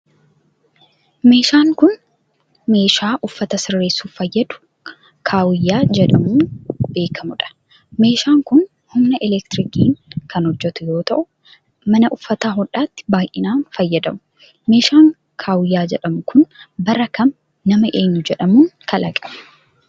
Meeshaan kun, meeshaa uffata sisirreessuuf fayyadu kaawiyyaa jedhamuun beekamuu dha. Meeshaan kun, humna elektirikaatin kan hojjatu yoo ta'u, mana uffata hodhaatti baay'inaan fayyadamu. Meeshaan kaawiyyaa jedhamu kun bara kam nama eenyu jedhamuun kalaqame?